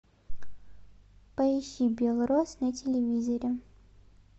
поищи белрос на телевизоре